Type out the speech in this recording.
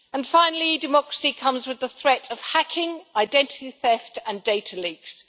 Finally, e democracy comes with the threat of hacking, identity theft and data leaks.